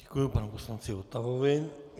Děkuji panu poslanci Votavovi.